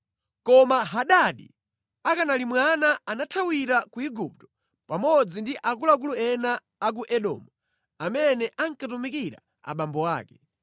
Koma Hadadi akanali mwana anathawira ku Igupto pamodzi ndi akuluakulu ena a ku Edomu amene ankatumikira abambo ake.